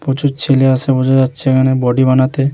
প্রচুর ছেলে আসে বোঝা যাচ্ছে এখানে বডি বানাতে।